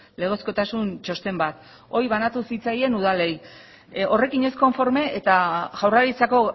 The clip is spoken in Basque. legezkotasun txosten bat hori banatu zitzaion udalei horrekin ez konforme eta jaurlaritzako